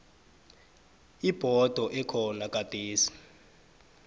ibhodo ekhona gadesi